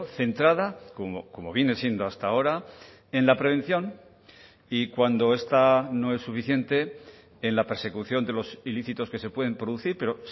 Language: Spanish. centrada como viene siendo hasta ahora en la prevención y cuando esta no es suficiente en la persecución de los ilícitos que se pueden producir pero